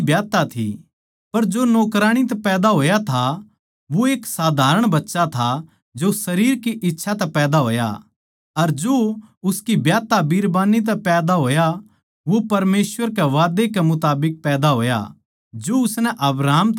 पर जो नौकराणी तै पैदा होया था वो एक साधारण बच्चा था जो शरीर की इच्छा तै पैदा होया अर जो उसकी ब्याहता बीरबानी तै पैदा होया वो परमेसवर के वादै कै मुताबिक पैदा होया जो उसनै अब्राहम तै करया था